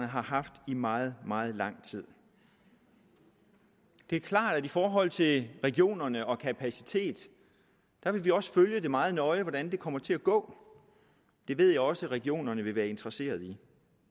har haft i meget meget lang tid det er klart at i forhold til regionerne og til kapacitet vil vi også følge meget nøje hvordan det kommer til at gå det ved jeg også at regionerne vil være interesseret